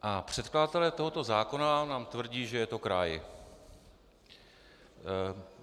A předkladatelé tohoto zákona nám tvrdí, že je to kraj.